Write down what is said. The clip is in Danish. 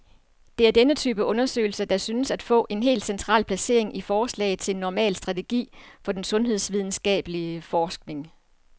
Det er denne type undersøgelser, der synes at få et helt central placering i forslaget til en normal strategi for den sundhedsvidenskabelig forskning.